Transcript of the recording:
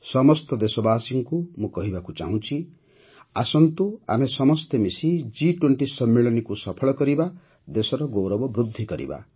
ସମସ୍ତ ଦେଶବାସୀଙ୍କୁ ମୁଁ କହିବାକୁ ଚାହୁଁଛି ଯେ ଆସନ୍ତୁ ଆମେ ସମସ୍ତେ ମିଶି ଜି୨୦ ସମ୍ମିଳନୀକୁ ସଫଳ କରିବା ଦେଶର ଗୌରବ ବୃଦ୍ଧି କରିବା